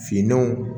Finanw